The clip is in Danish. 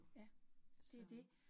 Ja, det det